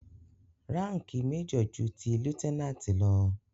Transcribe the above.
Ránkìì major ju ti lieutenant lọ.